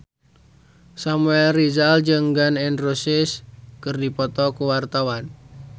Samuel Rizal jeung Gun N Roses keur dipoto ku wartawan